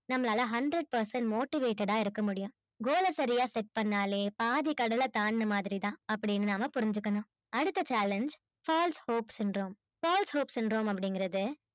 நம்மளால hundred percent motivated ஆ இருக்க முடியும் goal ஆ சரியா set பண்ணாலே பாதி கடல தாண்டின மாதிரி தான் அப்பிடின்னு நாம புரிஞ்சிக்கணும் அடுத்த challenge first hopes இன்றோம் first hopes இங்குறது